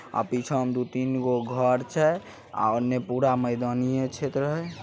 आ पीछा में दू तीन गो घर छै। उधर पूरा मैदानीय क्षेत्र है ।